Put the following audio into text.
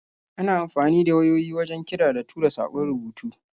Ana amfani da wayoyi wajen kira da tura saƙon rubutu.